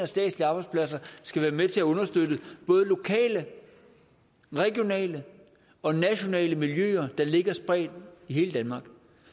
statslige arbejdspladser skal være med til at understøtte både lokale regionale og nationale miljøer der ligger spredt i hele danmark